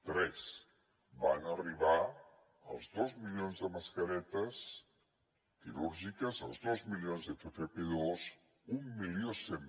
tres van arribar els dos milions de mascaretes quirúrgiques els dos milions d’ffp2 mil cent